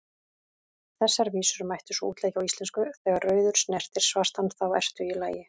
Þessar vísur mætti svo útleggja á íslensku: Þegar rauður snertir svartan, þá ertu í lagi,